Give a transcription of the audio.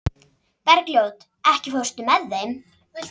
Bergljót, ekki fórstu með þeim?